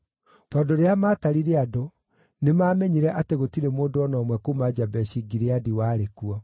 Tondũ rĩrĩa maatarire andũ, nĩmamenyire atĩ gũtirĩ mũndũ o na ũmwe kuuma Jabeshi-Gileadi warĩ kuo.